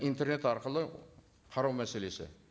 интернет арқылы қарау мәселесі